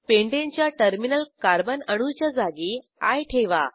pentane च्या terminal carbon अणूच्या जागी आय ठेवा